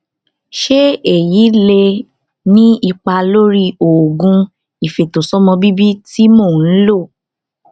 ṣé èyí lè ní ipa lórí oògùn ìfètòsọmọbíbí tí mò ń lò